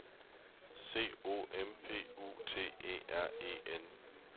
C O M P U T E R E N